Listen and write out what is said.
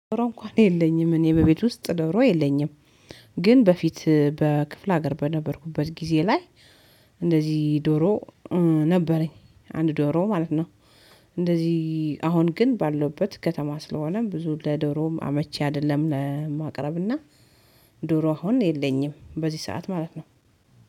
ዶሮ እንኳን የለኝም እኔ በቤት ውስጥ ዶሮ የለኝም። ግን በፊት በክፍለ ሀገር በነበርኩበት ጊዜ ላይ። እንደዚህ ዶሮ ነበረኝ አንድ ዶሮ ማለት ነው። እንደዚህ አሁን ግን ባለውበት ከተማ ስለሆነ ብዙ ለዶሮውም አመቺ አይደለም ለማቅረብና። ዶሮ አሁን የለኝም በዚህ ሰዓት ማለት ነው።